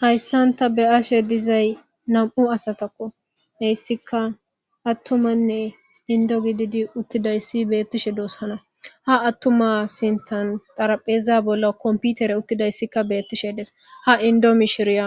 Hayssanta be ashe dizay nam7u asatakko heyssika attumanne indo gididi uttidayssi beettishe doos hana ha attuma sintan darapheeza bolla komputere uttidayssikka beettishe des ha indo mishiriya